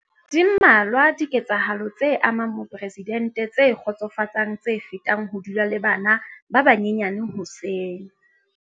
Di mmalwa dike tsahalo tse amang moporesidente tse kgotsofatsang tse fetang ho dula le bana ba banyenyane hoseng.